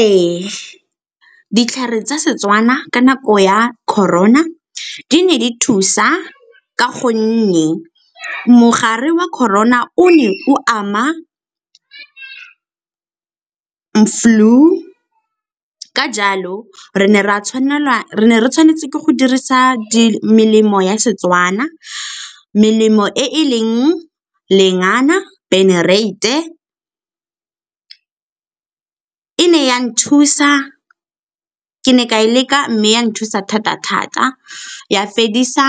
Ee, ditlhare tsa Setswana ka nako ya Corona di ne di thusa ka go nne mogare wa Corona o ne o ama flu, ka jalo re ne re tshwanetse ke go dirisa melemo ya Setswana. Melemo e e leng lengana, e ne ya nthusa, ke ne ka e leka mme ya nthusa thata-thata ya fedisa